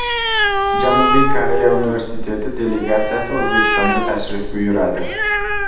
Janubiy Koreya universiteti delegatsiyasi O‘zbekistonga tashrif buyuradi.